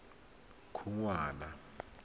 khunwana